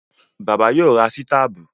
Bàbá yóò ra sítàbù